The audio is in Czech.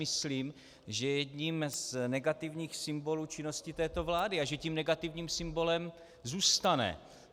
Myslím, že je jedním z negativních symbolů činnosti této vlády a že tím negativním symbolem zůstane.